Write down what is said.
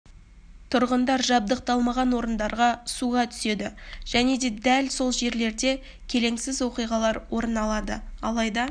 тұрғындар жабдықталмаған орындарда суға түседі және де дәл сол жерлерде келеңсіз оқиғалар орын алады алайда